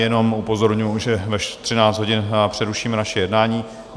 Jenom upozorňuji, že ve 13 hodin přerušíme naše jednání.